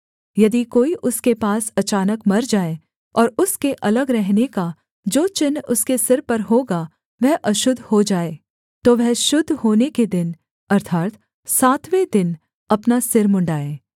यदि कोई उसके पास अचानक मर जाए और उसके अलग रहने का जो चिन्ह उसके सिर पर होगा वह अशुद्ध हो जाए तो वह शुद्ध होने के दिन अर्थात् सातवें दिन अपना सिर मुँण्ड़ाएँ